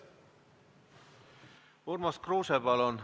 Urmas Kruuse, palun!